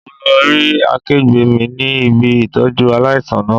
Mo lo rí akẹgbẹ́ mi ní ibi Ìtọ́jú aláìsàn náà.